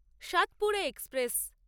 Satpura express